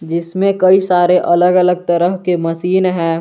जिसमें कई सारे अलग अलग तरह के मशीन हैं।